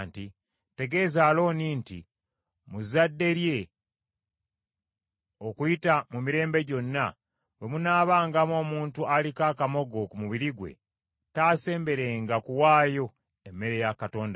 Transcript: “Tegeeza Alooni nti mu zadde lye, okuyita mu mirembe gyonna, bwe munaabangamu omuntu aliko akamogo ku mubiri gwe taasemberenga kuwaayo emmere ya Katonda we.